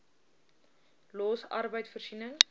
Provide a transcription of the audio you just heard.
los arbeid voorsiening